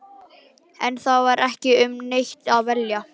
En það var ekki um neitt að velja.